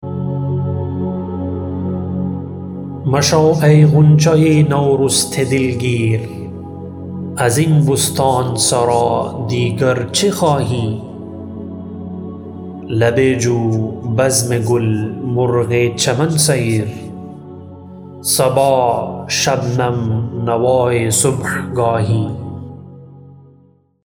مشو ای غنچه نورسته دلگیر ازین بستان سرا دیگر چه خواهی لب جو بزم گل مرغ چمن سیر صبا شبنم نوای صبحگاهی